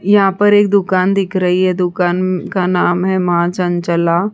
यहाँ पर एक दुकान दिख रही है दुकान का नाम है माँ चंचला।